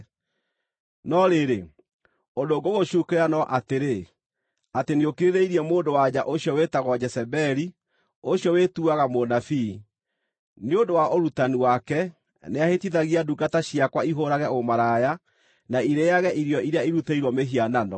No rĩrĩ, ũndũ ngũgũcuukĩra no atĩrĩ, atĩ nĩũkirĩrĩirie mũndũ-wa-nja ũcio wĩtagwo Jezebeli, ũcio wĩtuaga mũnabii. Nĩ ũndũ wa ũrutani wake, nĩahĩtithagia ndungata ciakwa ihũũrage ũmaraya, na irĩĩage irio iria irutĩirwo mĩhianano.